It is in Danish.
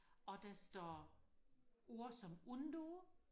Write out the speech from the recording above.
og der står ord som undo